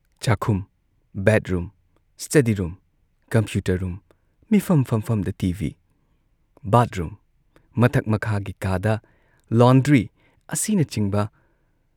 ꯆꯥꯛꯈꯨꯝ, bedroom, study room, computer room, ꯃꯤꯐꯝ ꯐꯝꯐꯝꯗ ꯇꯤ ꯚꯤ, ꯕꯥꯊꯔꯨꯝ, ꯃꯊꯛ ꯃꯈꯥꯒꯤ ꯀꯥꯗ, ꯂꯣꯟꯗ꯭ꯔꯤ ꯑꯁꯤꯅꯆꯤꯡꯕ